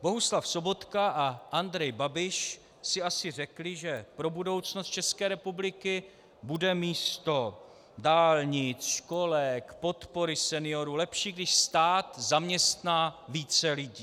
Bohuslav Sobotka a Andrej Babiš si asi řekli, že pro budoucnost České republiky bude místo dálnic, školek, podpory seniorů lepší, když stát zaměstná více lidí.